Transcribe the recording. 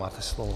Máte slovo.